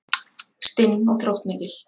Stinn og þróttmikil.